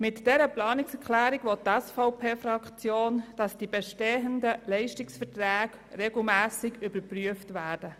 Mit dieser Planungserklärung will die SVP-Fraktion, dass die bestehenden Leistungsverträge regelmässig überprüft werden.